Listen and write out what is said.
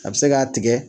A bɛ se k'a tigɛ